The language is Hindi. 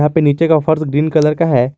यहां पे नीचे का फर्श ग्रीन कलर का है।